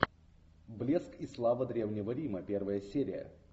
блеск и слава древнего рима первая серия